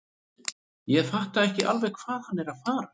Ég fatta ekki alveg hvað hann er að fara.